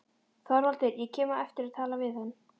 ÞORVALDUR: Ég kem á eftir og tala við hann.